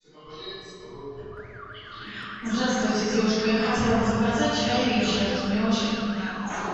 здравствуйте девушка я хотела бы заказать чай ричард мне очень нравится